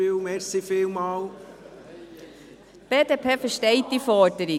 Die BDP versteht diese Forderung.